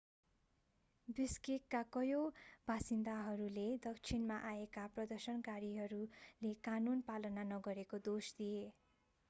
बिश्केकका कयौं बासिन्दाहरूले दक्षिणबाट आएका प्रदर्शनकारीहरूले कानून पालना नगरेको दोष दिए